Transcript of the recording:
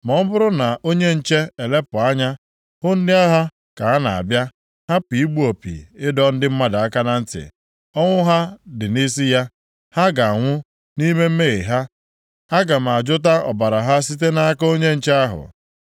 Ma ọ bụrụ na onye nche elepụ anya hụ ndị agha ka ha na-abịa hapụ igbu opi ịdọ ndị mmadụ aka na ntị, ọnwụ ha dị nʼisi ya. Ha ga-anwụ nʼime mmehie ha, ma aga m ajụta ọbara ha site nʼaka onye nche ahụ.’